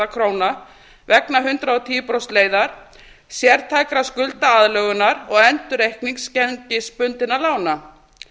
króna vegna hundrað og tíu prósent leiðar sértækrar skuldaaðlögunar og endurreiknings gengisbundinna lána